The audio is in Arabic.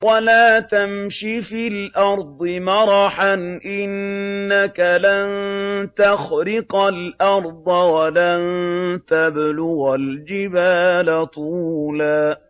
وَلَا تَمْشِ فِي الْأَرْضِ مَرَحًا ۖ إِنَّكَ لَن تَخْرِقَ الْأَرْضَ وَلَن تَبْلُغَ الْجِبَالَ طُولًا